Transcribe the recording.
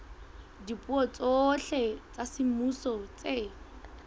dipuo tsohle tsa semmuso tse